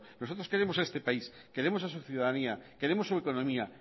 nosotros queremos a este país queremos a su ciudadanía queremos su autonomía